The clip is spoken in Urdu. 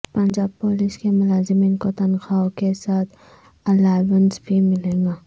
پنجاب پولیس کے ملازمین کو تنخوا ہ کے ساتھ الائونس بھی ملے گا